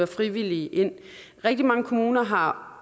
frivillige ind rigtig mange kommuner har